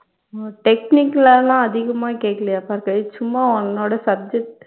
உம் technical ஆ லாம் அதிகமா கேக்கலயா பார்கவி சும்மா உன்னோட subject